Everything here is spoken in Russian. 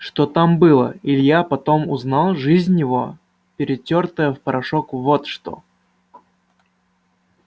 что там было илья потом узнал жизнь его перетёртая в порошок вот что